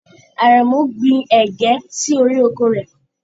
Àrẹ̀mú gbin ẹ̀gé sí orí oko rẹ̀.